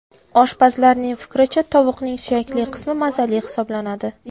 Oshpazlarning fikricha, tovuqning suyakli qismi mazali hisoblanadi.